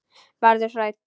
Verður hrædd.